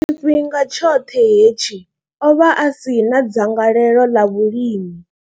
Tshifhinga tshoṱhe hetshi, o vha a si na dzangalelo ḽa vhulimi.